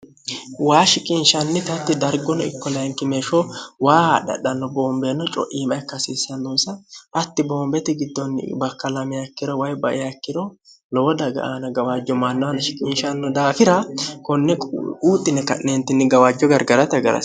waa shiqinshannitatti dargono ikkolayinkimeeshsho waa hadhadhanno boombeenno co'iima ikkasiissannosa hatti boombeti giddoonni bakkalamakkiro way bayaikkiro lowo daga aana gawaajjo mannoanna shiqinshanno daafira konne uuxxine ka'neentinni gawaajjo gargarata hagaro